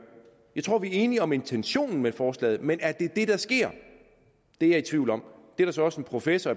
jeg tror vi er enige om intentionen med forslaget men er det det der sker det er jeg i tvivl om der er så også en professor